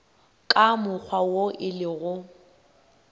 ka mokgwa wo e lego